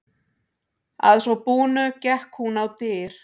Að svo búnu gekk hún á dyr.